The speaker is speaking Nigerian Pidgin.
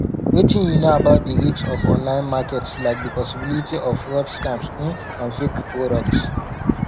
wetin you know about di risk of online markets like di possibility of fraud scams um and fake products